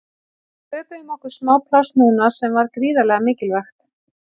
Við sköpuðum okkur smá pláss núna sem var gríðarlega mikilvægt.